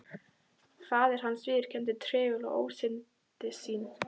Faðir hans viðurkenndi treglega ósannindi sín.